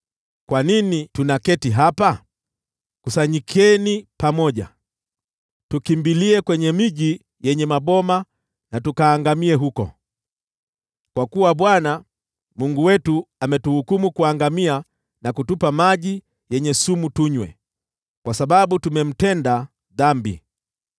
“Kwa nini tunaketi hapa? Kusanyikeni pamoja! Tukimbilie kwenye miji yenye maboma, tukaangamie huko! Kwa kuwa Bwana , Mungu wetu ametuhukumu kuangamia, na kutupa maji yenye sumu tunywe, kwa sababu tumemtenda dhambi.